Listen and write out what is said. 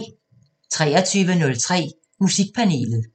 23:03: Musikpanelet